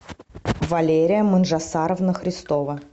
валерия манжасаровна христова